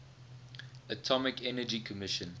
atomic energy commission